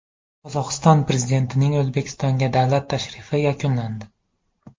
Qozog‘iston prezidentining O‘zbekistonga davlat tashrifi yakunlandi.